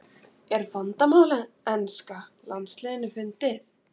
Er vandamál enska landsliðsins fundið?